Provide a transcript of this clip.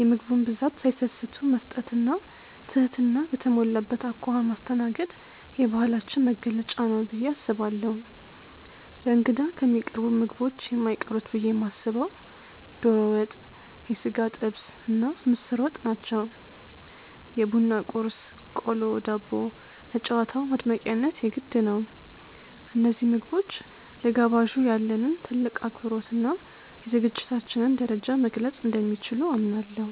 የምግቡን ብዛት ሳይሰስቱ መስጠት እና ትህትና በተሞላበት አኳኋን ማስተናገድ የባህላችን መገለጫ ነው ብዬ አስባለሁ። ለእንግዳ ከሚቀርቡት ምግቦች የማይቀሩት ብዬ የማስበው ዶሮ ወጥ፣ የሥጋ ጥብስ እና ምስር ወጥ ናቸው። የቡና ቁርስ (ቆሎ፣ ዳቦ) ለጨዋታው ማድመቂያነት የግድ ነው። እነዚህ ምግቦች ለጋባዡ ያለንን ጥልቅ አክብሮት እና የዝግጅታችንን ደረጃ መግለፅ እንደሚችሉ አምናለሁ።